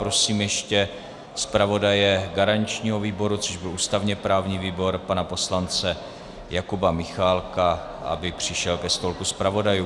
Prosím ještě zpravodaje garančního výboru, což byl ústavně-právní výbor, pana poslance Jakuba Michálka, aby přišel ke stolku zpravodajů.